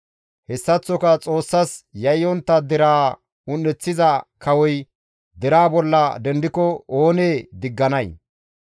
Hessaththoka Xoossas yayyontta deraa un7eththiza kawoy deraa bolla dendiko iza oonee digganay?